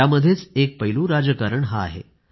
त्यामध्येच एक पैलू राजकारण हाही आहे